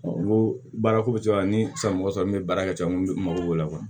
N ko baarako bɛ cogoya min na ni san wɔtɔ sɔrɔ n bɛ baara kɛ n ko n bɛ mako b'o la